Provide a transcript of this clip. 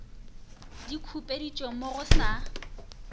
di khupeditšwe mo go sa